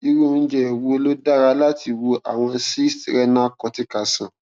irú oúnjẹ wo ló dára láti wo àwọn cysts renal cortical sàn